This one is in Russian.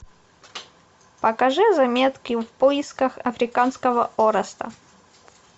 покажи заметки в поисках африканского ореста